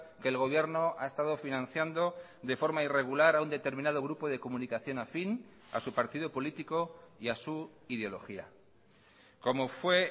que el gobierno ha estado financiando de forma irregular a un determinado grupo de comunicación afín a su partido político y a su ideología como fue